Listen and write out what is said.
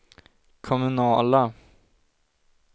kommunala